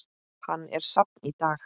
Hann er safn í dag.